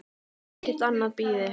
Ekkert annað bíði.